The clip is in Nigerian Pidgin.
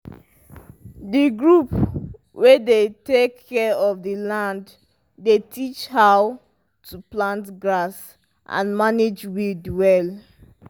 the group wey dey take care of the land dey teach how to plant grass and manage weed well